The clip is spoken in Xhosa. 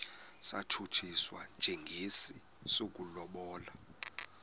satshutshiswa njengesi sokulobola